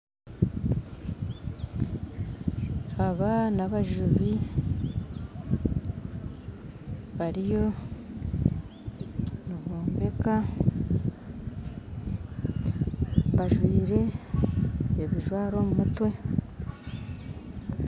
Aba n'abajubi bariyo nibombeka bajwire ebijwaro omu mutwe